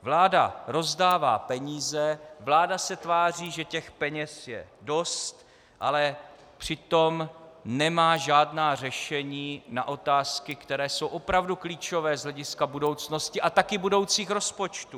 Vláda rozdává peníze, vláda se tváří, že těch peněz je dost, ale přitom nemá žádná řešení na otázky, které jsou opravdu klíčové z hlediska budoucnosti a taky budoucích rozpočtů.